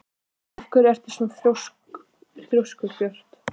Af hverju ertu svona þrjóskur, Björt?